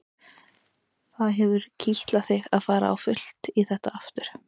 Það hefur kitlað þig að fara á fullt í þetta aftur?